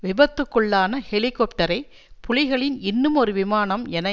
விபத்துக்குள்ளான ஹெலிகொப்டரை புலிகளின் இன்னுமொரு விமானம் எனை